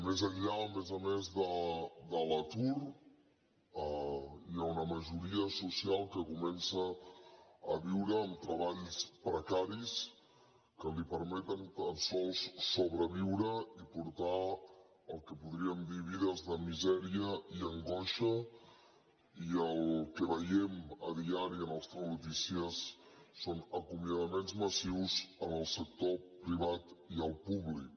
més enllà a més a més de l’atur hi ha una majoria social que comença a viure amb treballs precaris que li permeten tan sols sobreviure i portar el que podríem dir vides de misèria i angoixa i el que veiem diàriament en els telenotícies són acomiadaments massius en el sector privat i el públic